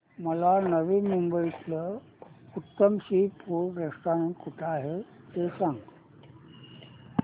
मला नवी मुंबईतलं उत्तम सी फूड रेस्टोरंट कुठे आहे ते सांग